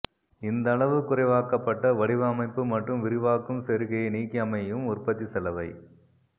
இந்த அளவு குறைவாக்கபட்ட வடிவமைப்பு மற்றும் விரிவாக்கும் செருகியை நீக்கியமையும் உற்பத்தி செலவை